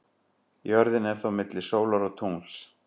Jörðin er þá milli sólar og tungls.